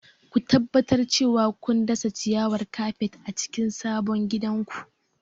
Ku tabbatar cewa kun dasa ciyawar kafet a cikin sabon gidanku.